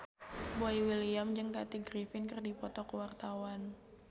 Boy William jeung Kathy Griffin keur dipoto ku wartawan